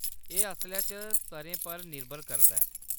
एह् असलै च स्तरें पर निर्भर करदा ऐ।